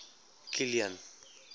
kilian